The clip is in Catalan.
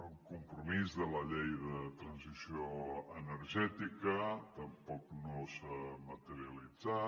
el compromís de la llei de transició energètica tampoc no s’ha materialitzat